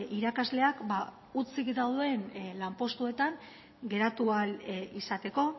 irakasleak hutsik dauden lanpostuetan geratu ahal izateko